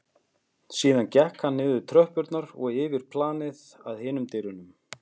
Síðan gekk hann niður tröppurnar og yfir planið að hinum dyrunum.